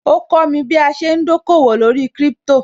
Ó kọ́mi bí a ṣe ń dòkòwò lórí Crypto